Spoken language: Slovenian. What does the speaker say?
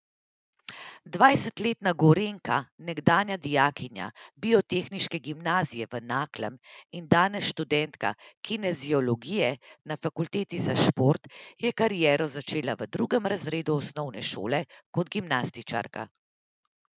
Dvajsetletna Gorenjka, nekdanja dijakinja biotehniške gimnazije v Naklem in danes študentka kineziologije na fakulteti za šport, je kariero začela v drugem razredu osnovne šole kot gimnastičarka.